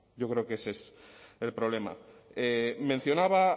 yo creo que ese es el problema mencionaba